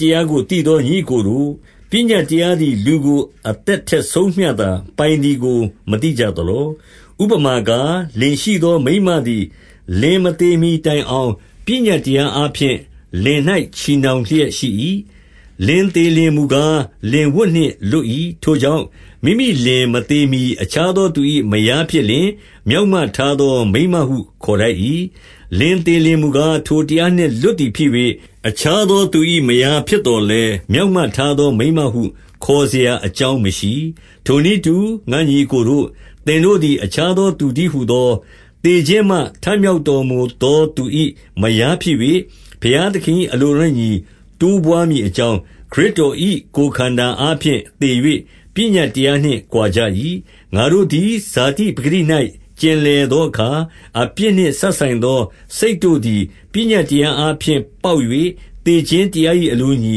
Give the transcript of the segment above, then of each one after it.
တရားကို သိသောညီအစ်ကိုတို့၊ ပညတ် တရားသည် လူကို အသက်ထက်ဆုံးမျှသာပိုင်သည်ကို မသိကြသလော။ 2 ဥပမာကား၊ လင်ရှိသောမိန်းမသည် လင်မသေ မှီတိုင်အောင်၊ ပညတ်တရားအားဖြင့် လင်၌ချည်နှောင် လျက်ရှိ၏။ လင်သေလျှင်မူကား လင်ဝတ်နှင့်လွတ်၏။ 3 ထိုကြောင့်၊ မိမိလင်မသေမှီအခြားသော သူ၏ မယားဖြစ်လျှင်၊ မျောက်မထားသောမိန်းမဟု ခေါ်ထိုက် ၏။ လင်လေလျှင်မူကား၊ ထိုတရားနှင့်လွတ်သည်ဖြစ်၍၊ အခြားသောသူ၏ မယားဖြစ်သော်လည်း၊ မျောက်မထားသောမိန်းမဟု ခေါ်စရာအကြောင်းမရှိ။ 4 ထိုနည်းတူ၊ ငါညီအစ်ကိုတို့၊ သင်တို့သည် အခြားသော သူတည်းဟူသော၊ သေခြင်းမှ ထမြောက် တော်မူသော သူ၏မယားဖြစ်၍၊ ဘုရားသခင်၏ အလိုတော်နှင့်အညီ တိုးပွါးမည်အကြောင်း၊ ခရစ်တော်၏ ကိုယ်ခန္ဓာအားဖြင့်သေ၍ ပညတ်တရားနှင့်ကွာကြ၏။ 5 ငါတို့သည် ဇာတိပကတိ၌ ကျင်လည်သောအခါ၊ အပြစ်နှင့် စပ်ဆိုင်သောစိတ်တို့သည် ပညတ်တရား အားဖြင့်ပေါက်၍ သေခြင်းတရား၏အလိုနှင့်အညီ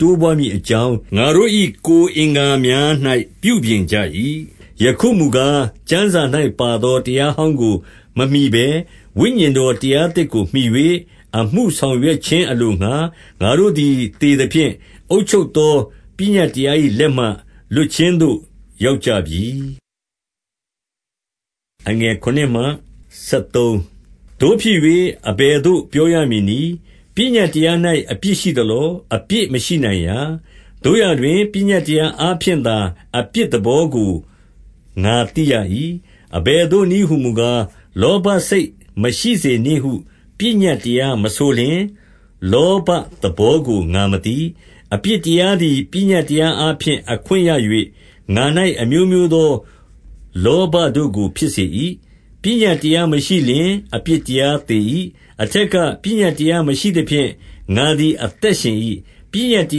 တိုးပွါးမည်အကြောင်း၊ ငါတို့၏ကိုယ်အင်္ဂါများ၌ ပြုပြင် ကြ၏။ 6 ယခုမူကား၊ ကျမ်းစာ၌ပါသော တရားဟောင်းကို မမှီဘဲ၊ ဝိညာဉ်တော်တရားသစ်ကို မှီ၍ အမှု ဆောင်ရွက်ခြင်းအလိုငှါ၊ ငါတို့သည် အသေသဖြင့် အုပ်ချုပ်သောပညတ်တရား၏လက်မှ လွတ်ခြင်းသို့ ရောက်ကြပြီ။ 7 သို့ဖြစ်၍ အဘယ်သို့ပြောရမည်နည်း။ ပညတ် တရား၌ အပြစ်ရှိသလော။ အပြစ်မရှိနိုင်ရာ။ သို့ရာတွင် ပညတ်တရားအားဖြင့်သာ အပြစ်သဘောကို ငါသိရ၏။ အဘယ်သို့နည်းဟူမူကား၊ လောဘစိတ်မရှိစေနှင့်ဟု ပညတ်တရားမဆိုလျှင်၊ လောဘသဘောကိုငါမသိ။ 8 အပြစ်တရားသည် ပညတ်တရားအားဖြင့် အခွင့်ရ၍၊ ငါ၌ အမျိုးမျိုးသော လောဘတို့ကို ဖြစ်စေ၏။ ပညတ်တရားမရှိလျှင်၊ အပြစ်တရားသေ၏။ 9 အထက်ကပညတ်တရားမရှိသဖြင့်၊ ငါသည် အသက်ရှင်၏။ ပညတ်တ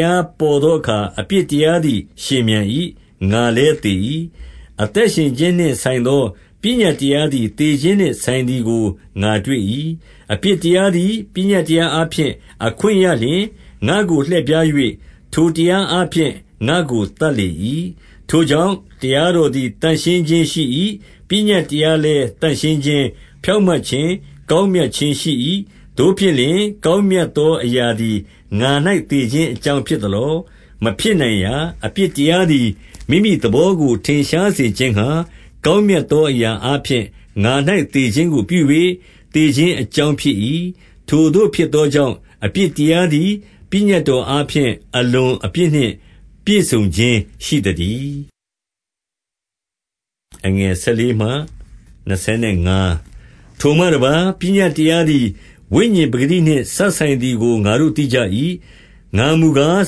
ရားပေါ်သောအခါ အပြစ် တရားသည် ရှင်ပြန်၏။ ငါလည်း သေ၏။ 10 အသက်ရှင်ခြင်းနှင့်ဆိုင်သော ပညတ်တရား သည် သေခြင်းနှင့် ဆိုင်သည်ကို ငါတွေ့၏။ 11 အပြစ်တရားသည်ပညတ်တရားအားဖြင့် အခွင့်ရလျှင်၊ ငါ့ကို လှည့်ဖြား၍ ထိုတရားအားဖြင့် ငါ့ကို သတ်လေ၏။ 12 ထိုကြောင့်၊ တရားတော်သည်သန့်ရင်းခြင်းရှိ၏။ ပညတ်တရားလည်း သန့်ရှင်းခြင်း၊ ဖြောင့်မတ်ခြင်း၊ ကောင်းမြတ်ခြင်းရှိ၏။ 13 သို့ဖြစ်လျှင် ကောင်းမြတ်သောအရာသည် ငါ၌သေခြင်းအကြောင်း ဖြစ်သလော။ မဖြစ်နိုင်ရာ။ အပြစ်တရားသည် မိမိသဘောကို ထင်ရှားစေခြင်းငှါ ကောင်းမြတ်သောအရာအားဖြင့် ငါ၌သေခြင်းကို ပြု၍ သေခြင်းအကြောင်းဖြစ်၏။ ထိုသို့ဖြစ်သောကြောင့် အပြစ်တရားသည် ပညတ်တော်အားဖြင့် အလွန်အပြစ် နှင့်ပြည့်စုံခြင်းရှိသတည်း။ 14 ထိုမှတပါး ၊ပညတ်တရားသည် ဝိညာဉ်ပကတိနှင့် စပ်ဆိုင်သည်ကို ငါတို့သိကြ၏။ ငါမူကား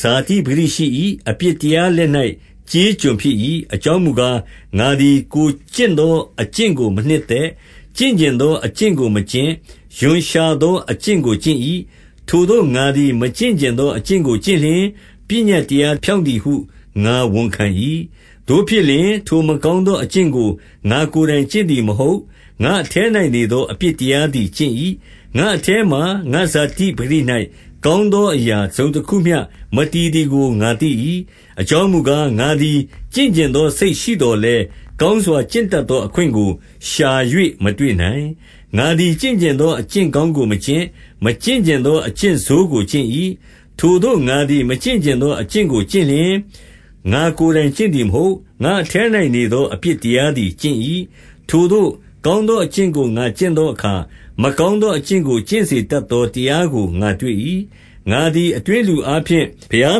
ဇာတိ ပကတိရှိ၏။ အပြစ်တရားလက်၌ ကျေးကျွန်ဖြစ်၏။ 15 အကြောင်းမူကား၊ ငါသည်ကိုယ်ကျင့်သော အကျင့်ကို မနှစ်သက်။ ကျင့်ချင်သော အကျင့်ကိုမကျင့်၊ ရွံ့ရှာသော အကျင့်ကို ကျင့်၏။ 16 ထိုသို့ငါသည် မကျင့်ချင်သောအကျင့်ကို ကျင့်လျှင်၊ ပညတ်တရားဖြောင့်သည်ဟု ငါဝန်ခံ၏။ 17 သို့ဖြစ်လျှင်၊ ထိုမကောင်းသောအကျင့်ကို ငါ့ကိုယ်တိုင်ကျင့်သည်မဟုတ်။ ငါ့အထဲ၌နေသော အပြစ် တရားသည် ကျင့်၏။ 18 ငါ့အထဲမှာ ငါ့ဇာတိပကတိ၌ ကောင်းသော အရာတစုံတခုမျှ မတည်သည်ကို ငါသိ၏။ အကြောင်း မူကား၊ ငါသည်ကျင့်ချင်သော စိတ်ရှိသော်လည်း၊ ကောင်းစွာကျင့်တတ်သောအခွင့်ကိုရှာ၍ မတွေ့နိုင်။ 19 ငါသည် ကျင့်ချင်သော အကျင့်ကောင်းကို မကျင့်။ မကျင့်ချင်သော အကျင့်ဆိုးကိုကျင့်၏။ 20 ထိုသို့ငါသည်မကျင့်ချင်သောအကျင့်ကို ကျင့်လျှင်၊ ငါကိုယ်တိုင်ကျင့်သည်မဟုတ်။ ငါ့အထဲ၌ နေသော အပြစ်တရားသည်ကျင့်၏။ 21 ထိုသို့ကောင်းသော အကျင့်ကိုငါကျင့်ချင်သောအခါ၊ မကောင်းသောအကျင့်ကို ကျင့်စေတတ်သော တရားကို ငါတွေ့၏။ 22 ငါသည် အတွင်းလူအားဖြင့် ဘုရား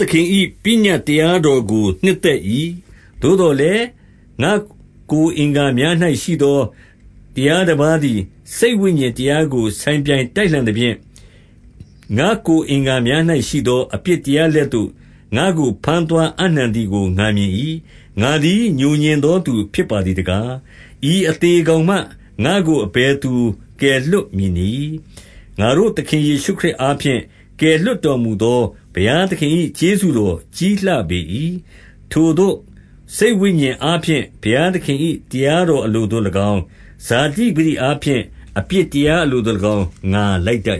သခင်၏ ပညတ်တရားတော်တို့ နှစ်သက်၏။ 23 သို့သော်လည်း ငါ့ကိုယ်အင်္ဂါများ၌ ရှိသော တရားတပါးသည် စိတ်ဝိညာဉ်တရားကို ဆိုင်ပြိုင် တိုက်လှန်သဖြင့်၊ ငါ့ကိုယ်အင်္ဂါများ၌ ရှိသော အပြစ် တရားလက်သို့ ငါ့ကိုဘမ်းသွားအပ်နှံသည်ကို ငါမြင်၏။ 24 ငါသည်ငြိုငြင်သောသူဖြစ်ပါသည်တကား၊ ဤအသေကောင်မှ ငါ့ကို အဘယ်သူ ကယ်လွှတ် မည်နည်း။ 25 ငါတို့သခင် ယေရှုခရစ်အားဖြင့် ကယ်လွှတ်တော်မူသော ဘုရားသခင်၏ကျေးဇူးတော်ကြီးလှပေ၏။ ထိုသို့စိတ်ဝိညာဉ်အားဖြင့် ဘုရားသခင်၏ တရားတော် အလိုသို့၎င်း၊ ဇာတိပကတိအားဖြင့် အပြစ်တရား အလိုသို့၎င်း၊ ငါလိုက်တတ်